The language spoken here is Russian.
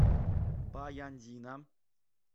баяндина